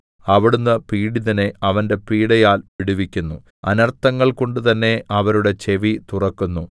അവിടുന്ന് പീഡിതനെ അവന്റെ പീഡയാൽ വിടുവിക്കുന്നു അനർഥങ്ങൾകൊണ്ടുതന്നെ അവരുടെ ചെവി തുറക്കുന്നു